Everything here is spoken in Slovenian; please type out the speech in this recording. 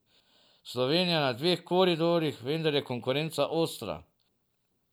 Slovenija je na dveh koridorjih, vendar je konkurenca ostra.